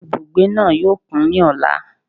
Ibùgbé náà yóò kún ní ọ̀la